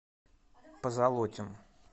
позолотин